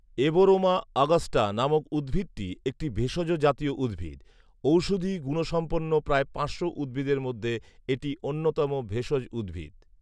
Abroma augusta নামক উদ্ভিদটি একটি ভেষজ জাতীয় উদ্ভিদ ৷ ঔষধি গুণসম্পন্ন প্রায় পাঁচশো উদ্ভিদের মধ্যে এটি অন্যতম ভেষজ উদ্ভিদ ৷